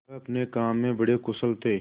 वह अपने काम में बड़े कुशल थे